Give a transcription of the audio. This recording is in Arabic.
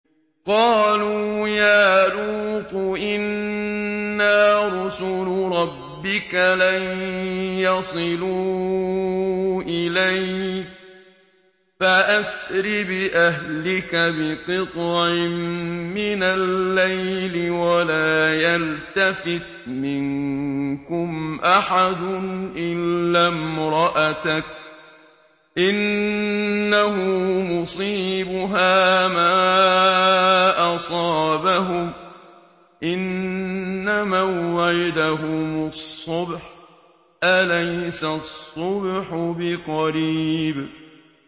قَالُوا يَا لُوطُ إِنَّا رُسُلُ رَبِّكَ لَن يَصِلُوا إِلَيْكَ ۖ فَأَسْرِ بِأَهْلِكَ بِقِطْعٍ مِّنَ اللَّيْلِ وَلَا يَلْتَفِتْ مِنكُمْ أَحَدٌ إِلَّا امْرَأَتَكَ ۖ إِنَّهُ مُصِيبُهَا مَا أَصَابَهُمْ ۚ إِنَّ مَوْعِدَهُمُ الصُّبْحُ ۚ أَلَيْسَ الصُّبْحُ بِقَرِيبٍ